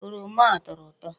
Oroma a ọ tọrọ ụtọ?